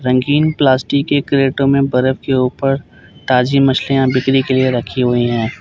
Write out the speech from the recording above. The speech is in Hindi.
रंगीन प्लास्टिक के क्रेटो में बर्फ के ऊपर ताजी मछलियां बिक्री के लिए रखी हुई हैं।